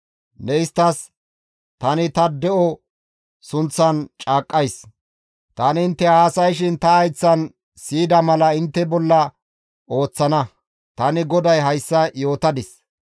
Ne isttas, ‹Tani ta de7o sunththan caaqqays; tani intte haasayshin ta hayththan siyida mala intte bolla ooththana; tani GODAY hayssa yootadis.